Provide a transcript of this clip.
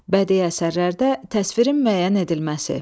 Bədii əsərlərdə təsvirin müəyyən edilməsi.